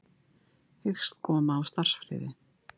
Hyggst koma á starfsfriði